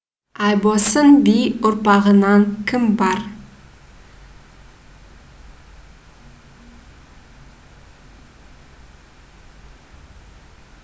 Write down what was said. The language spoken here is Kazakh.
айбосын би ұрпағынан кім бар